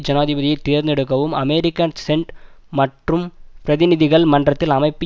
ஜனாதிபதியை தேர்ந்தெடுக்கவும் அமெரிக்க சென்ட் மற்றும் பிரதிநிதிகள் மன்றத்தில் அமைப்பு